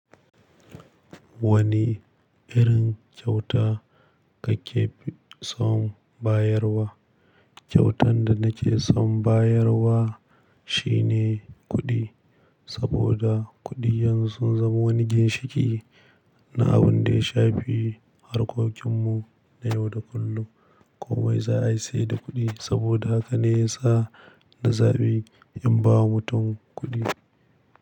Wane irin kyauta kake fi son bayarwa? Kyautar da nake son bayarwa shine kuɗi, saboda kuɗi yanzu sun zama wani ginshiƙi na abun da ya shafi harkokin mu na yau da kullum. Komai za a yi sai da kuɗi saboda haka ne ya sa na zaɓi in ba wa mutum kuɗi.